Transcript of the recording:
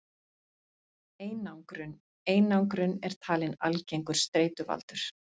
Einangrun Einangrun er talin algengur streituvaldur.